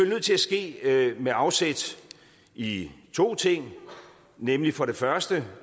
nødt til at ske med afsæt i to ting nemlig for det første